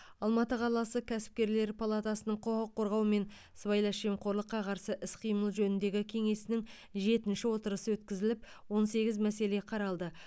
алматы қаласы кәсіпкерлер палатасының құқық қорғаумен сыбайлас жемқорлыққа қарсы іс қимыл жөніндегі кеңесінің жеті отырысы өткізіліп он сегіз мәселе қаралды